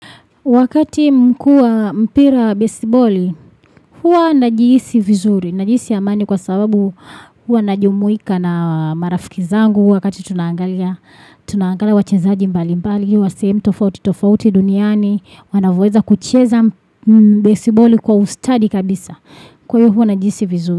Wakati mkuu wa mpira besiboli, huwa najihisi vizuri. Najihisi amani kwa sababu huwa najumuika na marafiki zangu. Wakati tunaangalia, tunaangalia wachezaji mbali mbali, wa sehemu tofauti, tofauti duniani, wanavyoweza kucheza besiboli kwa ustadi kabisa. Kwa hivyo najihisi vizuri.